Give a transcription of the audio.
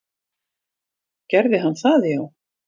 Gerði hann það já?